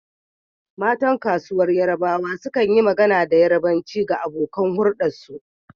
Matan kasuwar yarbawa sukan yi magana da Yarbanci ga abokan huldarsu.